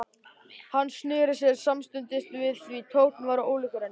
Hann sneri sér samstundis við því tónninn var ólíkur henni.